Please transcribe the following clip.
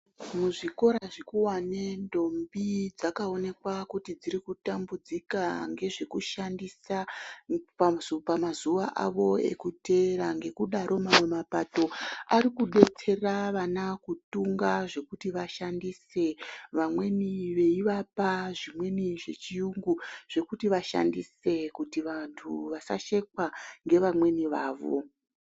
Muzvikora zvikuwane ndombi dzakaonekwa kuti dzirikutambudzika ngezvekushandisa pamazuva avo ekuteere ngekudaro mamwe mapato ari kudetsera vana kutunga zvekuti vashandise vamweni veivapa zvimweni zvechiyungu zvekutivashandise kuti vantu vasashekws ngevamweni vavo.